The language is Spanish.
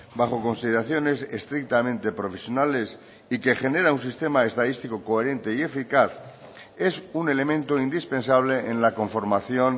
bajo consideraciones estrictamente profesionales y que genera un sistema estadístico coherente y eficaz es un elemento indispensable en la conformación